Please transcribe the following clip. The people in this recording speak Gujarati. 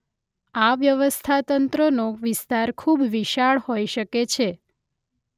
આ વ્યવસ્થાતંત્રનો વિસ્તાર ખૂબ વિશાળ હોઈ શકે છે.